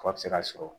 K'a bɛ se ka sɔrɔ